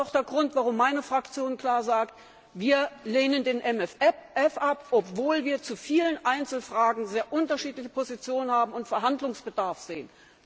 Das ist auch der Grund, warum meine Fraktion klar sagt Wir lehnen den MFR ab, obwohl wir zu vielen Einzelfragen sehr unterschiedliche Positionen haben und Verhandlungsbedarf sehen.